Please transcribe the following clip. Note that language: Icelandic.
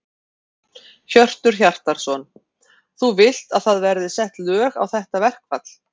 Hjörtur Hjartarson: Þú vilt að það verði sett lög á þetta verkfall?